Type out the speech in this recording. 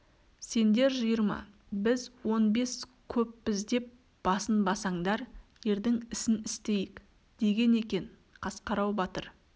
сендер жиырма біз он бес көппіз деп басынбасаңдар ердің ісін істейік деген екен қасқарау батыр